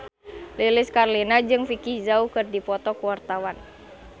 Lilis Karlina jeung Vicki Zao keur dipoto ku wartawan